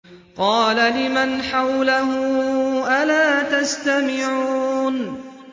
قَالَ لِمَنْ حَوْلَهُ أَلَا تَسْتَمِعُونَ